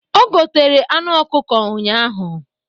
O gotere anụ ọkụkọ ụnyaahụ.